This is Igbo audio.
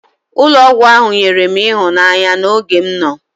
Ụlọ ọgwụ ahụ nyere m ịhụnanya n'oge m nọ.